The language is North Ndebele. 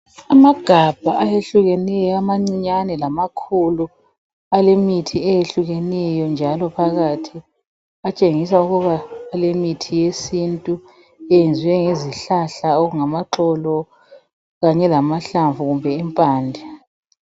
Amagabha ayehlukeneyo, amancinyane lamakhulu alemithi eyehlukeneyo njalo phakathi. Atshengisa ukuba alemithi yesintu eyenziwe ngezihlahla okungamaxolo kanye lamahlamvu kumbe impande.